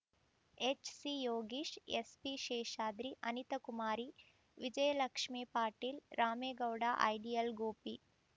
ಎಚ್‌ಸಿಯೋಗೀಶ್‌ SP Seshadri Anita Kumari Vijayalakshmi Patil Ramegowda ideal Gopi